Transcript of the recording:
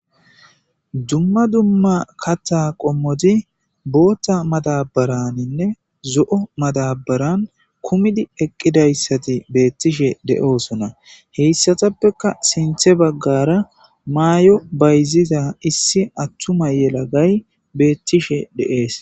dumma dumma katha qommoti bootha matabaraninne zo7o madabaran kumidi eqqidayssati beettishe de7oosona heyssatappeka sinthe baggara maayo bayzida issi attuma yelagay beettishe de7ees